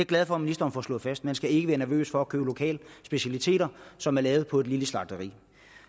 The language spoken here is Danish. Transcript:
glad for at ministeren får slået fast man skal ikke være nervøs for at købe lokale specialiteter som er lavet på lille slagteri